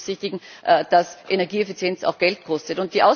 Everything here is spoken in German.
Hier ist zu berücksichtigen, dass Energieeffizienz auch Geld kostet.